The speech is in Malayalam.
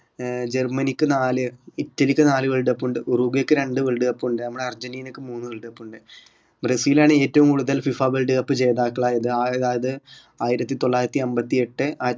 ഏർ ജർമ്മനിക്ക് നാല് ഇറ്റലിക്ക് നാല് world cup ഉണ്ട് ഉറൂബിയക്ക് രണ്ട് world cup ഉണ്ട് നമ്മളുടെ അർജന്റീനയ്ക്ക് മൂന്ന് world cup ഉണ്ട് ബ്രസീലാണ് ഏറ്റവും കൂടുതൽ FIFA world cup ജേതാക്കളായത് ആയ അത് ആയിരത്തി തൊള്ളായിരത്തി അമ്പത്തി എട്ട്